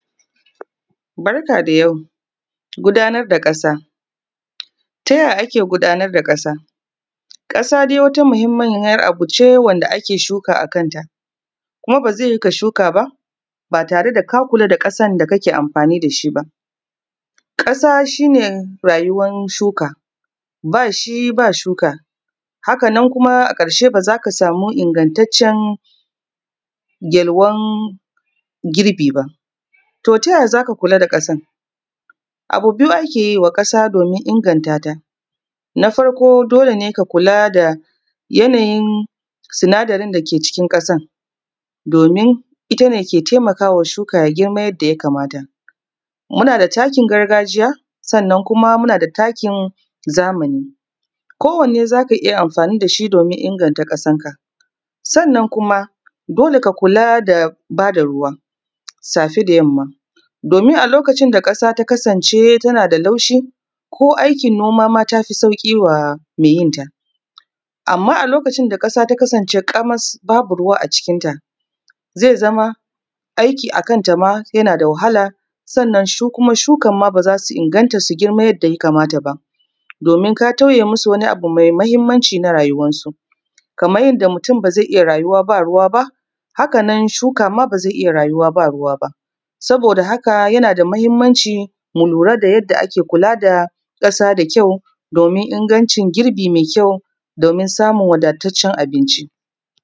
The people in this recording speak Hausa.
Barka da yau, gudanar da ƙasa. Ta ya ake gudanar da ƙasa? Ƙasa dai wata muhimmiyar abu ce wanda ake shuka a kanta, kuma ba zai yiwu ka shuka ba, ba tare da ka kula da ƙasan da kake amfani da shi ba. Ƙasa shi ne rayuwar shuka, bas hi ba shuka, hakan kuma ba z aka samu ingantaccen yalwan girbi ba. To ta yay a z aka kula da ƙasan? Abu biyu ake yi wa ƙasa domin inganta ta. Na farko dole ne ka kula da yanayin sinadarin da ke cikin ƙasan domin ita ne ke taimawa shuka ya girma yadda yakamata. Muna da takin gargajiya sannan kum muna da takin zamani, kowanne za ka iya amfani da shi domin inganta ƙasanka. Sannan kuma dole ka kula da ba da ruwa, afe da yamma, domin a lokacin da ƙasa ta kasance tana da laushi ko aikin noma ma ta fi sauƙi wa mai yin ta. Amma a lokacin da ƙasa ta kasance ƙamas babu ruwa a jikinta, zai zama aiki a kan ta ma yana da wahala, sannan shi kuma shukan ma ba za su inganta su girma yadda yakamata ba, domin ka tauye masu wani abu mai muhimmanci a rayuwar su. Kamar yadda mutum ba zai rayu ba ruwa ba. Haka ma shuka ma ba zai iya rayuwa ba, ba ruwa ba. Saboda haka yana da muhimmanci mu lura da yadda ake kula da ƙasa da kayu, domin ingancin girbi mai kyau, domin samun wadataccen abinci.